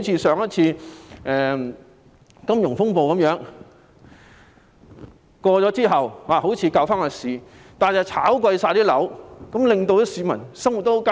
上次的金融風暴過去後，政府好像挽救了市道，卻令樓價上升，市民的生活十分艱難。